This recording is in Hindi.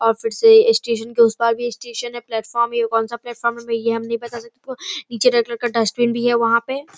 और फिर से स्टेशन के उस पार भी स्टेशन है प्लेटफार्म यह कौन-सा प्लेटफार्म है यह हम नहीं बता सकते नीचे रेड कलर का डस्टबीन भी है वहाँ पे ।